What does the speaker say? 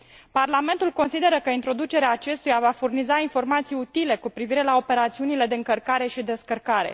Parlamentul consideră că introducerea acestuia va furniza informații utile cu privire la operațiunile de încărcare și descărcare.